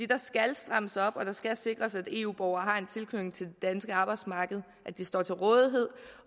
der skal strammes op og det skal sikres at eu borgere har en tilknytning til det danske arbejdsmarked at de står til rådighed